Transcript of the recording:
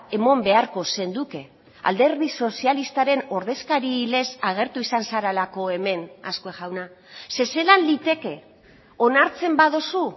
eman beharko zenuke alderdi sozialistaren ordezkarilez agertu izan zarelako hemen azkue jauna ze zelan liteke onartzen baduzu